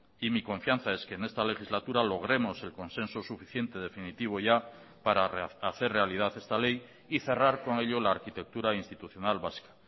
y mi confianza es que en esta legislatura logremos el consenso suficiente definitivo ya para hacer realidad esta ley y cerrar con ello la arquitectura institucional vasca